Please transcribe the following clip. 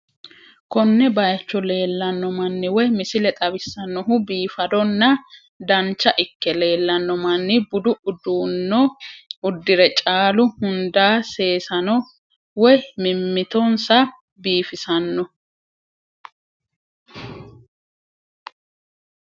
Koone bayicho lellanoo maani woy misile xaawissanohu biffaddona daanicha ikee lellanoo manni buddu uddanoo udirre caallu hunida sessanoo woy mimiittosaa bifissanoo